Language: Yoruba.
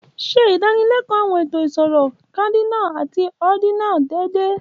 Ṣe ìdánilẹ́kọ̀ọ́ àwọn ètò ìṣirò cardinal àti ordinal déédéé.